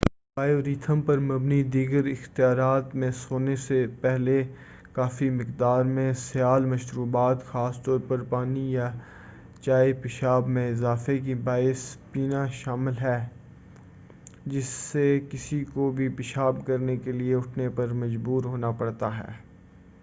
Bio rhythm پر مبنی دیگر اختیارات میں سونے سے پہلے کافی مقدار میں سیال مشروبات خاص طور پر پانی یا چائے، پیشاب میں اضافے کی باعث پینا شامل ہے، جس سے کسی کو بھی پیشاب کرنے کے لیے اٹھنے پر مجبور ہونا پڑتا ہے۔